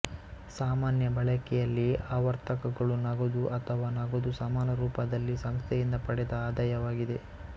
ಸಾಮಾನ್ಯ ಬಳಕೆಯಲ್ಲಿ ಆವರ್ತಕಗಳು ನಗದು ಅಥವಾ ನಗದು ಸಮಾನ ರೂಪದಲ್ಲಿ ಸಂಸ್ಥೆಯಿಂದ ಪಡೆದ ಆದಾಯವಾಗಿದೆ